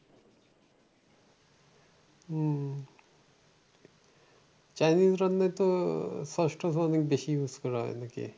হম Chinese রান্নায় তো sauce টস অনেক বেশি use করা হয় নাকি?